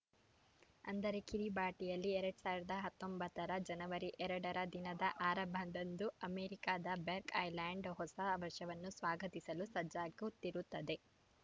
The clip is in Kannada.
ಅಂದರೆ ಕಿರಿಬಾಟಿಯಲ್ಲಿ ಎರಡ್ ಸಾವಿರದ ಹತ್ತೊಂಬತ್ತರ ಜನವರಿ ಎರಡರ ದಿನದ ಆರಂಭದಂದು ಅಮೆರಿಕದ ಬೇಕರ್‌ ಐಲ್ಯಾಂಡ್‌ ಹೊಸ ವರ್ಷವನ್ನು ಸ್ವಾಗತಿಸಲು ಸಜ್ಜಾಗುತ್ತಿರುತ್ತದೆ